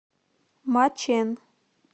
мачэн